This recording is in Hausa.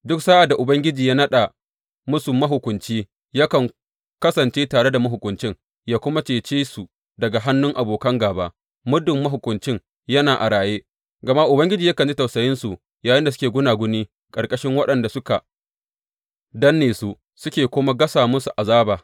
Duk sa’ad da Ubangiji ya naɗa musu mahukunci, yakan kasance tare da mahukuncin, yă kuma cece su daga hannun abokan gāba, muddin mahukuncin yana a raye; gama Ubangiji yakan ji tausayinsu yayinda suke gunaguni ƙarƙashin waɗanda suka danne su suke kuma gasa musu azaba.